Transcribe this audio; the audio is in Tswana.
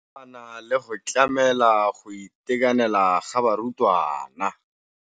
ya nakwana le go tlamela go itekanela ga barutwana.